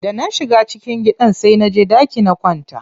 Da na shiga cikin gidan sai naje ɗaki na kwanta.